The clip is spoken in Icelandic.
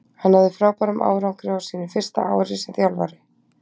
Hann náði frábærum árangri á sínu fyrsta ári sem þjálfari.